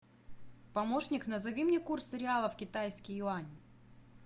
помощник назови мне курс реала в китайский юань